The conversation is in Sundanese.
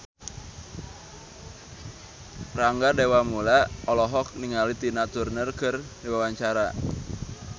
Rangga Dewamoela olohok ningali Tina Turner keur diwawancara